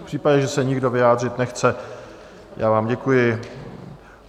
V případě, že se nikdo vyjádřit nechce, já vám děkuji.